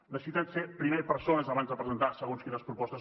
necessiten ser primer persones abans de presentar segons quines propostes